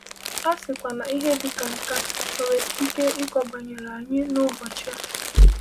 A sịkwa na ihe dị ka nke a nwere ike ịkọ banyere anyị n’ụbọchị a.